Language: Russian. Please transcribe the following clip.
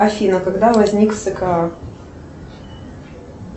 афина когда возник скр